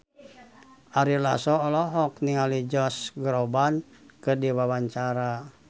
Ari Lasso olohok ningali Josh Groban keur diwawancara